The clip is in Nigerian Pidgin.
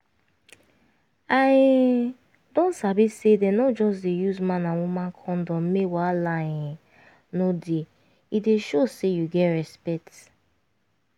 i um don sabi say dem no just dey use man and woman condom make wahala um no dey e dey show say you get respect